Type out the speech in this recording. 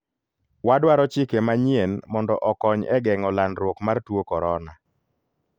wadwaro chike manyien mondo okony e geng'o landruok mar tuo korona.